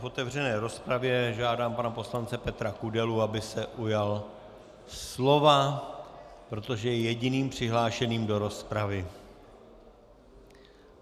V otevřené rozpravě žádám pana poslance Petra Kudelu, aby se ujal slova, protože je jediným přihlášeným do rozpravy.